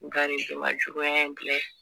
Nka nin si ma juguya in